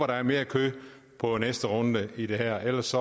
der er mere kød på næste runde i det her ellers